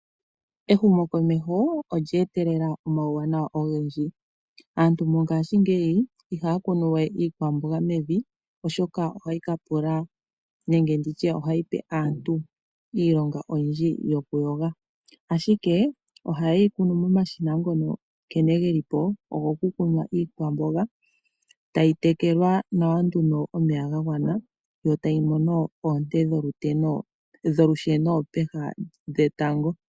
Ehumokomeho olya etelela omauwanawa ogendji. Aantu mongashingeyi ihaya kunu we iikwamboga mevi, oshoka ohayi ka pula, nenge ndi tye ohayi pe aantu iilonga oyindji yokuyoga. Ashike, ohaye yi kunu momashina ngono nkene ge li po, ogokukunwa iikwamboga, tayi tekelwa nawa nduno omeya ga gwana, yo tayi mono oonte dholusheno peha dhetango.